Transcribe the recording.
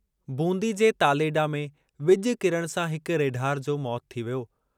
बूंदी जे तालेडा में विॼु किरणु सां हिक रेढार जो मौतु थी वियो।